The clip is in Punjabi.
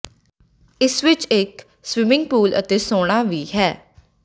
ਇਸ ਵਿਚ ਇਕ ਸਵਿਮਿੰਗ ਪੂਲ ਅਤੇ ਸੌਨਾ ਵੀ ਹੈ